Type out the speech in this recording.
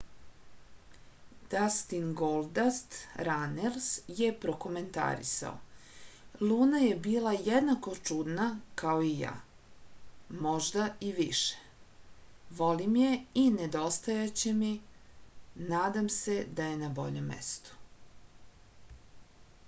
дастин голдаст ранелс је прокоментарисао: луна је била једнако чудна као и ја...можда и више...волим је и недостајће ми...надам се да је на бољем месту.